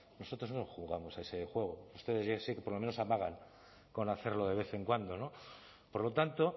nosotros no jugamos a ese juego ustedes ya sé que por lo menos amagan con hacerlo de vez en cuando no por lo tanto